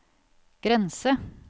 grense